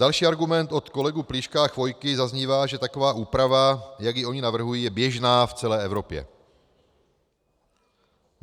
Další argument od kolegů Plíška a Chvojky zaznívá, že taková úprava, jak ji oni navrhují, je běžná v celé Evropě.